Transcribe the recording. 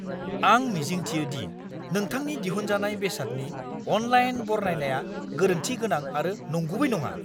आं मिजिंथियो दि नोंथांनि दिहुनजानाय बेसादनि अनलाइन बरनायनाया गोरोन्थि गोनां आरो नंगुबै नङा!